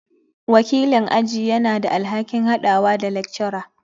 Wakilin aji yana da alhakin haɗawa da lecturer.